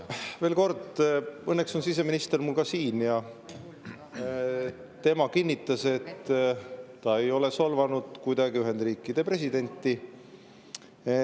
Veel kord: õnneks on siseminister siin ja ta kinnitas, et ta ei ole kuidagi Ühendriikide presidenti solvanud.